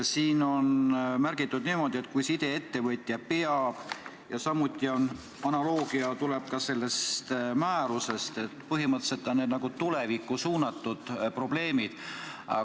Siin on märgitud niimoodi, et kui sideettevõtja peab, ja analoogiliselt on ka selles määruses, nii et põhimõtteliselt on need nagu tulevikku suunatud probleemid.